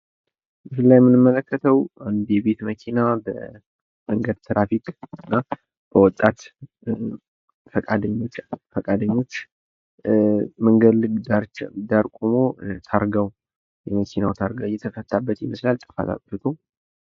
ምስሉ ላይ የምንመለከተው አንድ የቤት መኪና በትራፊክና ወጣት ፈቃደኞች መንገድ ዳር ቆሞ የመኪናው ታልጋ እየተፈታበት ይመስላል ጥፋት አጥፍቶ።